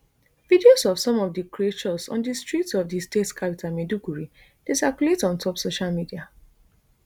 videos of some of di creatures on di streets of di state capital maiduguri dey circulate on top social media